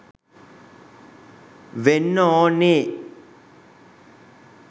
වෙන්න ඕනේ.